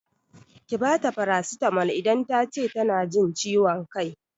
Ki bata farasitamol idan tace tana jin ciwon kai!